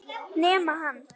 Nema hann.